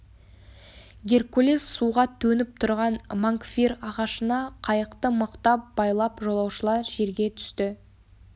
геркулес суға төніп тұрған мангфир ағашына қайықты мықтап байлап жолаушылар жерге түсті